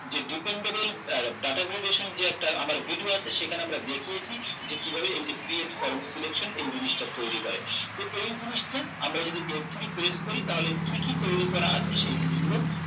যে dependable আহ data validation যে একটা আমার video আছে সেখানে আমরা দেখিয়েছি যে কিভাবে এই যে create from selection এই জিনিসটা তৈরী করে তো এই জিনিসটা আমরা যদি f three press করি তাহলে কি কি তৈরী করা আছে সেই জিনিস গুলো